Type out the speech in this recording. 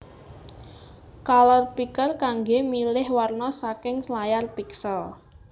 Color Picker kanggé milih warna saking layar piksel